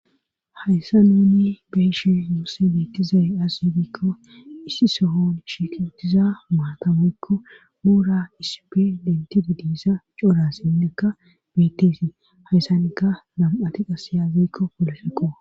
Hayssa nuunni beeshe muose beettizay as yidikko issi sohon shikutiza maatamekko muura isipe lenti dudisa cora sindekka biteesi hayssanika nam'ati qasiyaazekko polefeqo